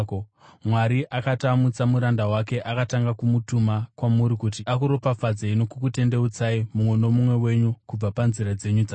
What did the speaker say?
Mwari akati amutsa muranda wake, akatanga kumutuma kwamuri kuti akuropafadzei nokukutendeutsai mumwe nomumwe wenyu kubva panzira dzenyu dzakaipa.”